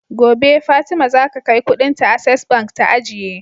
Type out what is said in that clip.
Gobe fatima zaka kai Ƙudin ta access bank ta ajiye